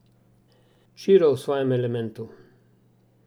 Ćiro v svojem elementu!